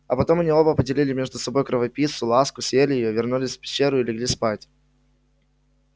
а потом оба они поделили между собой кровопийцу ласку съели её вернулись в пещеру и легли спать